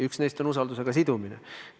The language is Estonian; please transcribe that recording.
Üks neist on eelnõu vastuvõtmise sidumine usaldusega.